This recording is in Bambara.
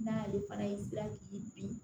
N'a y'ale fana y'i gilan k'i bin